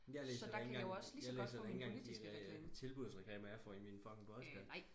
jeg læser da ikke engang jeg læser da ikke engang de tilbudsaviser jeg får i min fucking postkasse